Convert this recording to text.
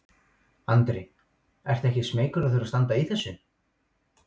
Andri: Ertu ekkert smeykur að þurfa að standa í þessu?